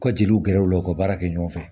U ka jeliw gɛrɛ u la u ka baara kɛ ɲɔgɔn fɛ